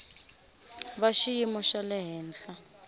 va xiyimo xa le henhla